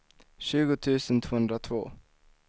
tjugo tusen tvåhundratvå